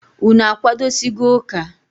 Unu akwadosigo ụka?